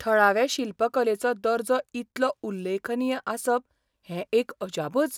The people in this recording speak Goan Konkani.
थळावे शिल्पकलेचो दर्जो इतलो उल्लेखनीय आसप हें एक अजापच .